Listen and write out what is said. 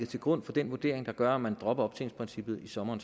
til grund for den vurdering der gør at man dropper optjeningsprincippet i sommeren